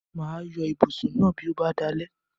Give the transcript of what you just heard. Mà á yọ ibùsùn náà bí ó bá dalẹ́.